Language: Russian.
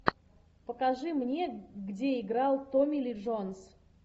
покажи мне где играл томми ли джонс